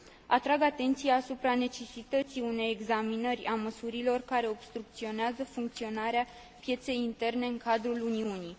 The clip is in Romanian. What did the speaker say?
Atrag atenția asupra necesității unei examinări a măsurilor care obstrucționează funcționarea pieței interne în cadrul Uniunii.